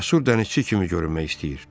Cəsur dənizçi kimi görünmək istəyir.